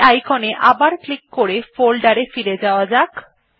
এই icon এ আবার ক্লিক করে ফোল্ডার এ ফিরে যাওয়া যাক